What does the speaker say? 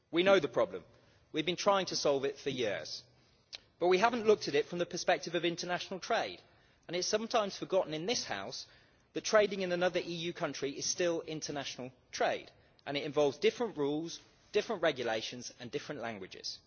We know the problem and we've been trying to solve it for years, but we haven't looked at it from the perspective of international trade. It is sometimes forgotten in this house that trading in another EU country is still international trade and it involves different rules, different regulations and different languages.